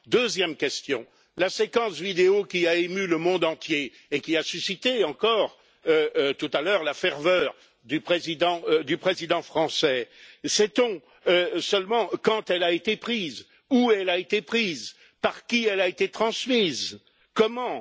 Deuxième question la séquence vidéo qui a ému le monde entier et qui a suscité, encore tout à l'heure, la ferveur du Président français, sait on seulement quand elle a été prise, où elle a été prise, par qui elle a été transmise et comment?